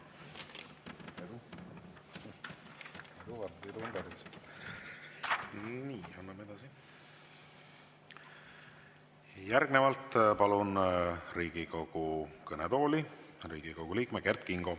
Järgnevalt palun Riigikogu kõnetooli Riigikogu liikme Kert Kingo.